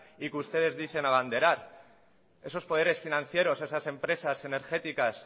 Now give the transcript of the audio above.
y que ustedes dicen abanderar esos poderes financieros esas empresas energéticas